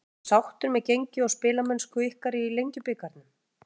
Ertu sáttur með gengi og spilamennsku ykkar í Lengjubikarnum?